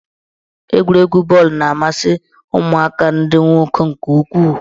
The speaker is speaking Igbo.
Egwuregwu bọọlụ na-amasị ụmụaka ndị nwoke nke ukwuu.